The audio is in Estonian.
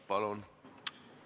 Palun!